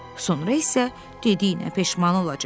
Sonra isə dediyinə peşman olacaq.